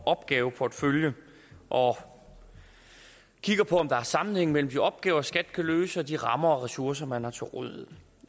opgaveportefølje og kigger på om der er sammenhæng mellem de opgaver skat kan løse og de rammer og ressourcer man har til rådighed